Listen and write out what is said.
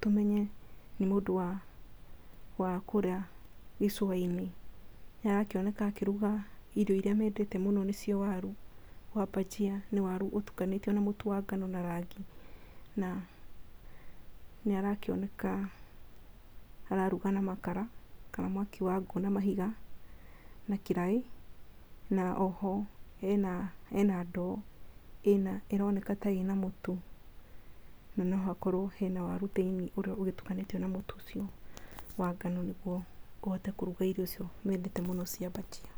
tũmenye nĩ mũndũ wa, wa kũrĩa icũa-inĩ. Nĩ arakĩoneka akĩruga irio irĩa mendete mũno waru nĩcio waru wa bhajia. Nĩ waru ũtukanĩtio na mũtu wa ngano na rangi na, nĩ arakĩoneka araruga na makara, kana mwaki wa ngũ na mahiga na kĩraĩ. Na oho hena ndo ĩroneka ta ĩna mũtu, na no hakorwo hena waru thĩinĩ ũrĩa ũgĩtukanĩtio na mũtu ũcio wa ngano, nĩguo ahote kũruga irio icio mendete mũno cia bhajia.